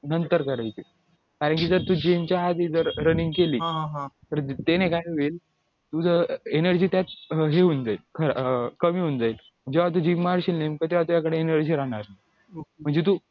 नंतर करायची कारण की जर तू gym च्या आधी running केली तर ते ना काय होईल energy त्यात हे होऊन जाईल कमी होऊन जाईल जेव्हा तू gym मारशील नेमकं तेव्हा तुझ्याकडे energy राहणार नाही म्हणजे तू